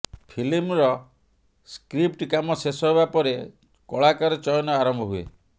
ଫିଲ୍ମର ସ୍କ୍ରିପ୍ଟ କାମ ଶେଷ ହେବା ପରେ କଳାକାର ଚୟନ ଆରମ୍ଭ ହୁଏ